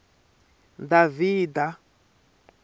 davhida